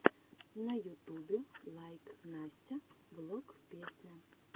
на ютубе лайк настя влог песня